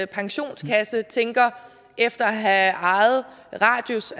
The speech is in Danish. pensionskasse efter at have ejet radius